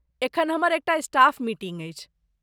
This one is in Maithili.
एखन हमर एकटा स्टाफ मीटिंग अछि।